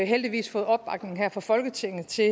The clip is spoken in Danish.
heldigvis fået opbakning her fra folketinget til